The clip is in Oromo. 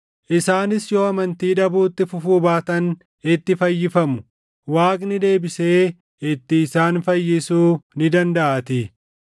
Isaanis yoo amantii dhabuutti fufuu baatan itti fayyifamu; Waaqni deebisee itti isaan fayyisuu ni dandaʼaatii.